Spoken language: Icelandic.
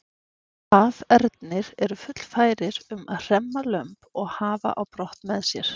Hafernir eru fullfærir um að hremma lömb og hafa á brott með sér.